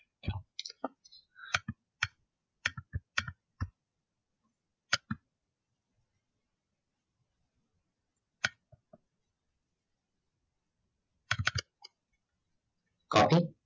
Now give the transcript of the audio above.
copy